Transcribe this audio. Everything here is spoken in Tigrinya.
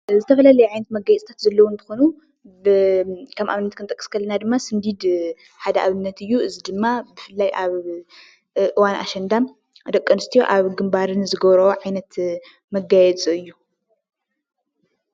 ዝተፈላለዩ ዓይነታት መጋየፂታት ዘለው እንትኮኑ፤ ከም አብነት ክንጠቅስ ከለና ድማ ስንዲድ ሓደ ኣብነት እዩ፡፡ እዚ ድማ ብፍላይ ኣብ እዋን አሸንዳ ደቂ አንስትዮ ኣብ ግንባረን ዝገብርኦ ዓይነት መጋየፂ እዩ፡፡